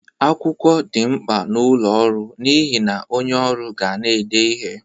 Akwụkwọ dị mkpa n'ọlụ ọrụ n'ihe na onye ọrụ ga na-ede ihe.